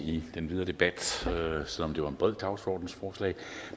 i den videre debat selv om det var et bredt dagsordensforslag